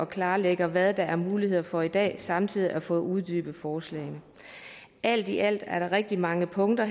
klarlagt hvad der er muligheder for i dag samtidig med får uddybet forslagene alt i alt er der rigtig mange punkter